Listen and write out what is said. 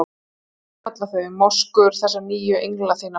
Hvað á ég að kalla þau- moskur- þessara nýju engla þinna.